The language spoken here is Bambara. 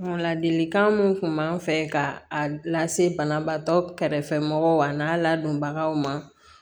Ladilikan mun tun b'an fɛ ka lase banabaatɔ kɛrɛfɛ mɔgɔw ma a n'a ladonbagaw ma